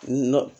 Nɔn